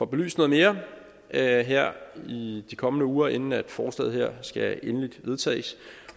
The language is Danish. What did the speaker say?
belyst noget mere her her i de kommende uger inden forslaget her skal endeligt vedtages